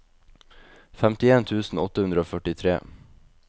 femtien tusen åtte hundre og førtitre